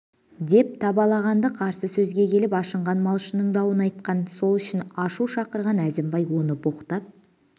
деп табалаған-ды қарсы сөзге келіп ашынған малшының дауын айтқан сол үшін ашу шақырған әзімбай оны боқтап